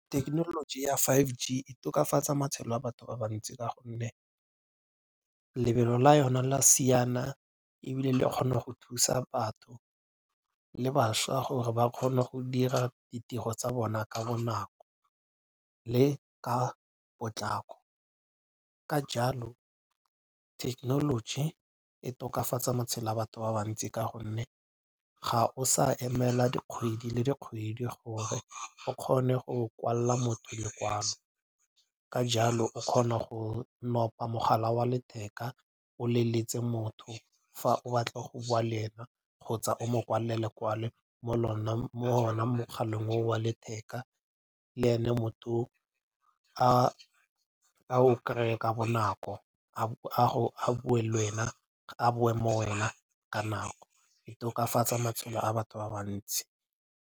Thekenoloji ya five G e tokafatsa matshelo a batho ba bantsi ka gonne lebelo la yona la siana ebile e kgone go thusa batho le bašwa gore ba kgone go dira ditiro tsa bona ka bonako le ka potlako. Ka jalo technology e tokafatsa matshelo a batho ba bantsi ka gonne ga o sa emela dikgwedi le dikgwedi gore o kgone go kwalela motho lekwalo. Ka jalo o kgona go nopa mogala wa letheka o leletse motho. Fa o batla go bua le ena kgotsa o mo kwalela lekwalo mo o na mogaleng o o wa letheka le e ne motho o ao kry-e ka bonako a bue lwena, a boe mo wena ka nako. E tokafatsa matshelo a batho ba bantsi.